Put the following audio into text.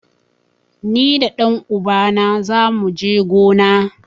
Ni da ɗan uba na zamu je gona.